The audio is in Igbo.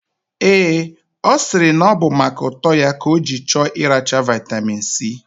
Ee, osiri na obu maka uto ya ka oji choo iracha vitamin C.